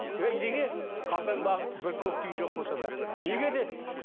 эй неге қалтаңдағы бір көк тиын жоқ болса да неге деді